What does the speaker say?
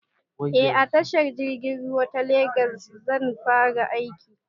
Eh a tashar jirgin ruwa ta legas zan fara aiki